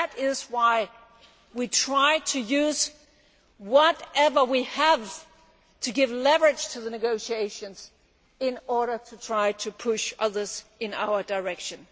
That is why we tried to use whatever we have to give leverage to the negotiations in order to try to push others in our direction.